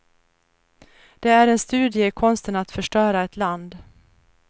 Det är en studie i konsten att förstöra ett land.